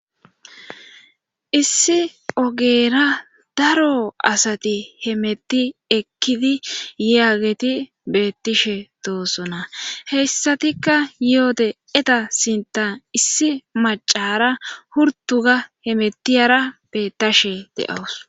Issi ogera daro asati he metti ekkidi yaageti bettishe doosona heyssatikka yoode eta sinta issi macara hurtuga he metiyara bettashe deawus.